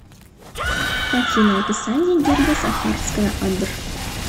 афина описание герба сахарская адр